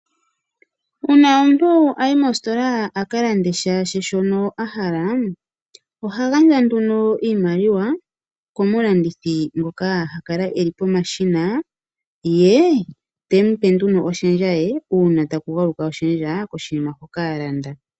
Uuna omuntu ayi mostola akalande shaashi shono ahala, oha gandja nduno iimaliwa komu landithi ngoka hakale eli pomashina ye tempe nduno oshendja ye, uuna taku galuka oshendja koshinima shoka alanda.